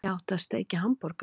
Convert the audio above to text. Ég átti að steikja hamborgara!